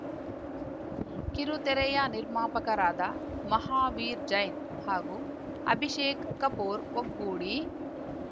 ಕಿರುತೆರೆಯ ನಿರ್ಮಾಪಕರಾದ ಮಹಾವೀರ್ ಜೈನ್ ಹಾಗೂ ಅಭಿಷೇಕ್ ಕಪೂರ್ ಒಗ್ಗೂಡಿ